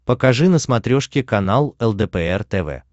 покажи на смотрешке канал лдпр тв